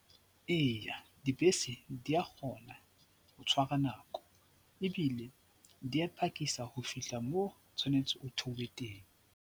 Eya, dibese di a kgona ho tshwara nako ebile di a phakisa ho fihla moo tshwanetse o theohe teng.